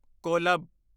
ਕੋਲਬ